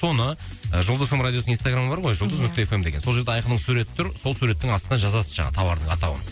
соны і жұлдыз эф эм радиосының инстаграмы бар ғой ия жұлдыз нүкте эф эм деген сол жерде айқынның суреті тұр сол суреттің астына жазасыз жаңағы тауардың атауын